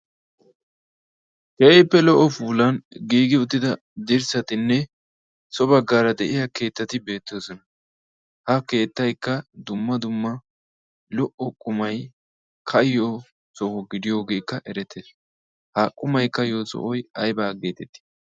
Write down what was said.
keehippe lo"o puulan giigi uttida dirssatinne so baggaara de'iya keettati beettoosona ha keettaikka dumma dumma lo"o qumai kayyo so gidiyoogeekka erete ha qumai ka'iyo so aybaa geetetii